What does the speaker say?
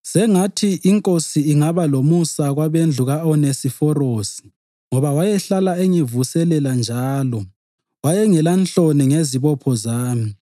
Sengathi iNkosi ingaba lomusa kwabendlu ka-Onesiforosi ngoba wayehlala engivuselela njalo wayengelanhloni ngezibopho zami.